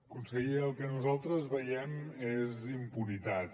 conseller el que nosaltres veiem és impunitat